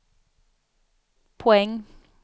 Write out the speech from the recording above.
poäng